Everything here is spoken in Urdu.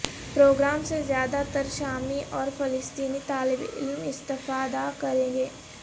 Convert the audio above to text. پروگرام سے زیادہ تر شامی اور فلسطینی طالب علم استفادہ کریں گے